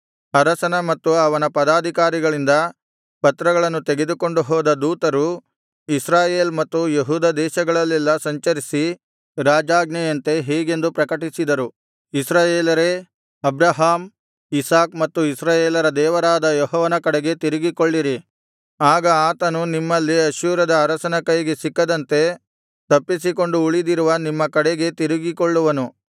ಅರಸನ ಮತ್ತು ಅವನ ಪದಾಧಿಕಾರಿಗಳಿಂದ ಪತ್ರಗಳನ್ನು ತೆಗೆದುಕೊಂಡು ಹೋದ ದೂತರು ಇಸ್ರಾಯೇಲ್ ಮತ್ತು ಯೆಹೂದ ದೇಶಗಳಲ್ಲೆಲ್ಲಾ ಸಂಚರಿಸಿ ರಾಜಾಜ್ಞೆಯಂತೆ ಹೀಗೆಂದು ಪ್ರಕಟಿಸಿದರು ಇಸ್ರಾಯೇಲರೇ ಅಬ್ರಹಾಮ್ ಇಸಾಕ್ ಮತ್ತು ಇಸ್ರಾಯೇಲರ ದೇವರಾದ ಯೆಹೋವನ ಕಡೆಗೆ ತಿರುಗಿಕೊಳ್ಳಿರಿ ಆಗ ಆತನು ನಿಮ್ಮಲ್ಲಿ ಅಶ್ಶೂರದ ಅರಸನ ಕೈಗೆ ಸಿಕ್ಕದಂತೆ ತಪ್ಪಿಸಿಕೊಂಡು ಉಳಿದಿರುವ ನಿಮ್ಮ ಕಡೆಗೆ ತಿರುಗಿಕೊಳ್ಳುವನು